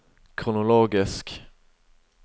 kronologisk